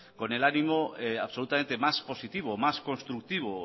con el ánimo absolutamente más positivo más constructivo